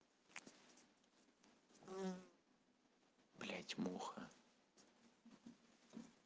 блять муха